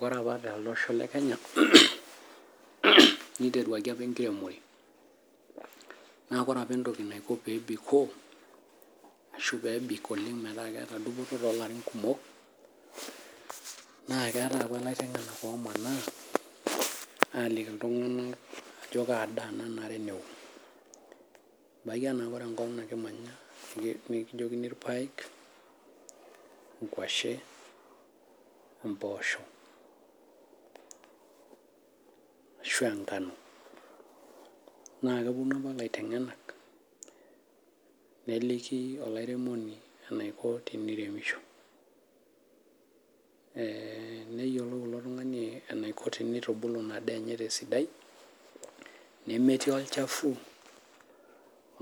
Oree opa tolosho lee kenya neiteruakie opa enkiremore' naa oree opa entoki naiko pee biikoo ashuu pebik oleng peeta dupoto too larin kumok' naa keetai opa laiteng'enak oomana aliki iltung'anak ajoo kaa daa Nao, ebaki anaa enkop nikimanya nikijokini ilpaek mposho, ashuu enkanu naa kewuonu opa laiteng'enak ajoki olairemoni eneiko teiremisho, ee neyiolou ilo tung'ani eneiko teneitubulu inaa daa enye tesidai nemetii olchafuu,